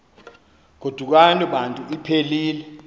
godukani bantu iphelil